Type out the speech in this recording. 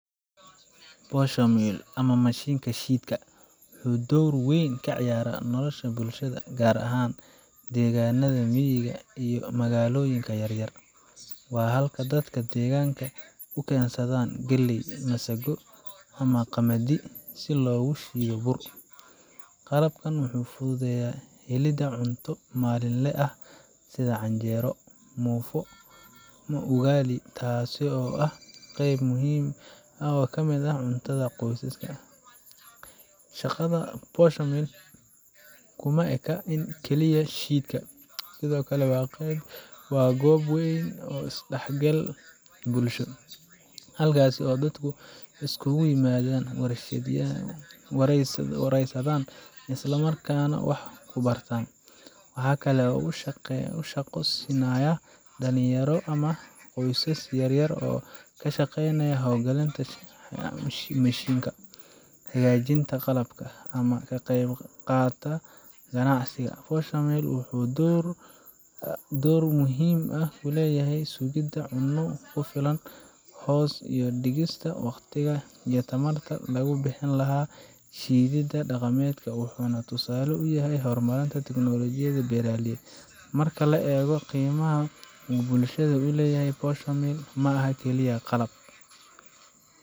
Posho mill, ama mashiinka shiidka, wuxuu door weyn ka ciyaaraa nolosha bulshada, gaar ahaan deegaannada miyiga iyo magaalooyinka yaryar. Waa halka dadka deegaanka u keensadaan galley, masago, ama qamadi si loogu shiido bur. Qalabkan wuxuu fududeeyaa helidda cunto maalinle ah sida canjeero, muufo, ama ugali, taasoo ah qayb muhiim ah oo ka mid ah cuntada qoysaska. Shaqada posho mill ka kuma eka oo keliya shiidka; sidoo kale waa goob is dhexgal bulsho, halkaas oo dadku iskugu yimaadaan, waraysadaan, isla markaana wax ku bartaan. Waxaa kale oo uu shaqo siinayaa dhalinyaro ama qoysas yaryar oo ka shaqeeya hawlgalinta mashiinka, hagaajinta qalabka, ama ka qayb qaata ganacsiga. Posho mill wuxuu door muhiim ah ku leeyahay sugidda cunno ku filan, hoos u dhigista waqtiga iyo tamarta lagu bixin lahaa shiididda dhaqameedka, wuxuuna tusaale u yahay horumarka tiknoolajiyadda beeraleyda. Marka la eego qiimaha uu bulshada u leeyahay, posho mill ma aha kaliya qalab.